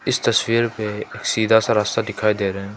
इस तस्वीर पे एक सीधा सा रास्ता दिखाई दे रहा है।